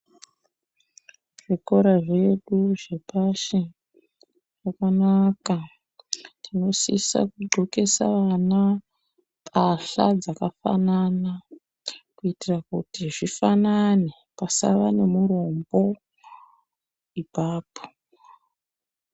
Zvikora zvedu zvepashi zvakanaka tinosisa kudxokesa vana mbahla dzakafanana kuitira kuti zvifanane pasava nemurombo ipapo.